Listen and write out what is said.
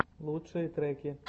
лучшие треки